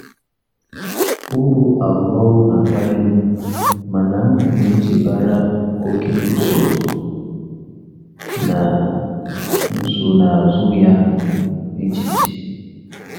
Ụrụ arụmọrụ na-akpali m, mana m na-echebara oke usoro na nsonaazụ ya um echiche.